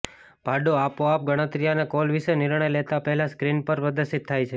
ભાડું આપોઆપ ગણતરી અને કોલ વિશે નિર્ણય લેતા પહેલા સ્ક્રીન પર પ્રદર્શિત થાય છે